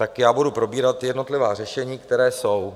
Tak já budu probírat jednotlivá řešení, která jsou.